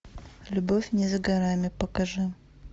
любовь не за горами покажи